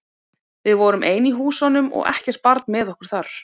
Við vorum ein í húsunum og ekkert barn með okkur þar.